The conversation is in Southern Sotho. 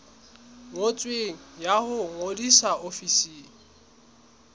ngotsweng ya ho ngodisa ofising